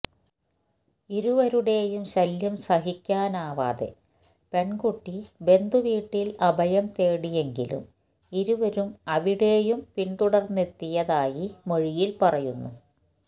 ഇരുവരുടെയും ശല്യം സഹിക്കാനാകാതെ പെണ്കുട്ടി ബന്ധുവീട്ടില് അഭയം തേടിയെങ്കിലും ഇരുവരും അവിടെയും പിന്തുടര്ന്നെത്തിയതായി മൊഴിയില് പറയുന്നു